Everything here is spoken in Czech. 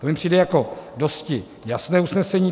To mi přijde jako dosti jasné usnesení.